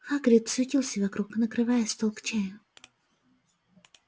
хагрид суетился вокруг накрывая стол к чаю